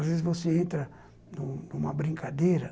Às vezes, você entra numa numa brincadeira.